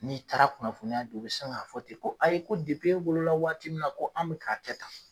N'i taara kunnafoniya di, u bi sin ka fɔ ten ko ayi ko e wolola waati min na ko an be ka kɛ tan.